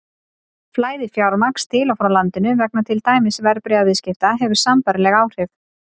Flæði fjármagns til og frá landinu vegna til dæmis verðbréfaviðskipta hefur sambærileg áhrif.